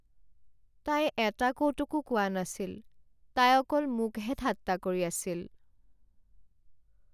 তাই এটা কৌতুকো কোৱা নাছিল, তাই অকল মোকহে ঠাট্টা কৰি আছিল।